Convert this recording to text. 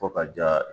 Fo ka ja